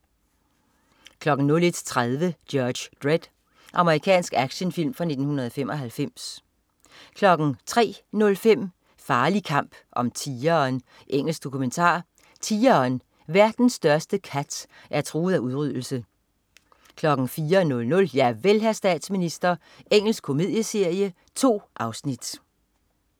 01.30 Judge Dredd. Amerikansk actionfilm fra 1995 03.05 Farlig kamp om tigeren. Engelsk dokumentar. Tigeren, verdens største kat, er truet af udryddelse 04.00 Javel, hr. statsminister. Engelsk komedieserie. 2 afsnit